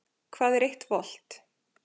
Hvað er eitt volt?